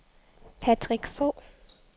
Patrick Fogh